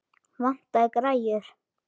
Vantaði græjur?